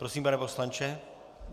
Prosím, pane poslanče.